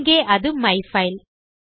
இங்கே அது மைஃபைல்